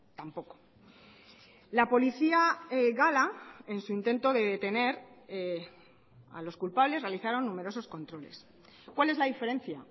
tampoco la policía gala en su intento de detener a los culpables realizaron numerosos controles cuál es la diferencia